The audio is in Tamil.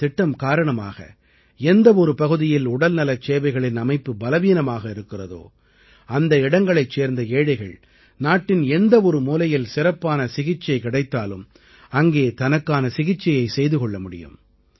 இந்தத் திட்டம் காரணமாக எந்த ஒரு பகுதியில் உடல்நலச் சேவைகளின் அமைப்பு பலவீனமாக இருக்கிறதோ அந்த இடங்களைச் சேர்ந்த ஏழைகள் நாட்டின் எந்த ஒரு மூலையில் சிறப்பான சிகிச்சை கிடைத்தாலும் அங்கே தனக்கான சிகிச்சையை செய்து கொள்ள முடியும்